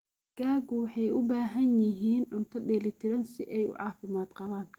Digaagu waxay u baahan yihiin cunto dheeli tiran si ay u caafimaad qabaan.